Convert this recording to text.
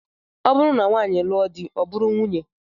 Ọ bụrụ na nwaanyị lụọ di, ọ bụrụ nwunye